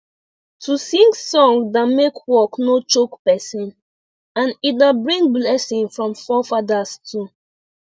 to sing song da make work no choke person and e da bring blessing from fore fadas too